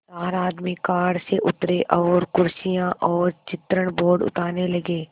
चार आदमी कार से उतरे और कुर्सियाँ और चित्रण बोर्ड उतारने लगे